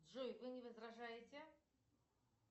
джой вы не возражаете